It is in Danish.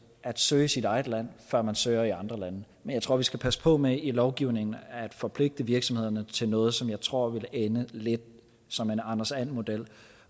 at søge i sit eget land før man søger i andre lande men jeg tror vi skal passe på med i lovgivningen at forpligte virksomhederne til noget som jeg tror vil ende lidt som en anders and model